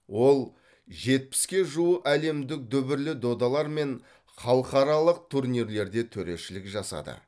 ол жетпіске жуы әлемдік дүбірлі додалар мен халықаралық турнирлерде төрешілік жасады